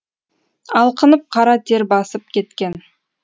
алқынып қара тер басып кеткен